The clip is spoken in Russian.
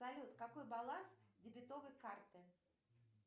салют какой баланс дебетовой карты